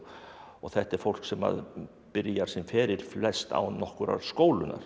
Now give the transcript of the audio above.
þetta er fólk sem byrjar sinn feril flest án nokkurrar